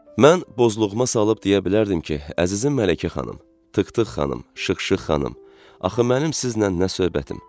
Mən bozluğuma salıb deyə bilərdim ki, əzizim Mələkə xanım, Tıktıq xanım, Şıxşıx xanım, axı mənim sizlə nə söhbətim?